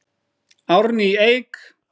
Árný Eik.